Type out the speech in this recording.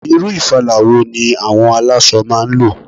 Irú ìfala wo ni àwọn aláṣọ máa ń lò?